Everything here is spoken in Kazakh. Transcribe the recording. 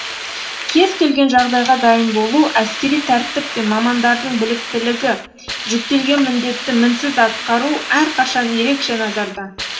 кез келген жағдайға дайын болу әскери тәртіп пен мамандардың біліктілігі жүктелген міндетті мінсіз атқару әрқашан ерекше назарда